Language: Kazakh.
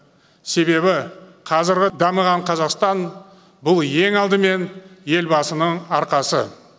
себебі қазіргі дамыған қазақстан бұл ең алдымен елбасының арқасы